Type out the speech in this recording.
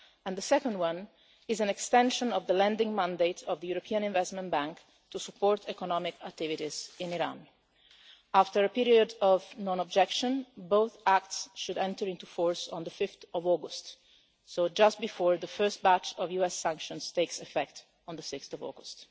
The second is an extension of the lending mandate of the European Investment Bank to support economic activities in Iran. After a period of non-objection, both acts should enter into force on 5 August, just before the first batch of US sanctions takes effect on 6 August.